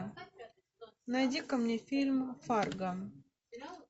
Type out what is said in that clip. найди ка мне фильм фарго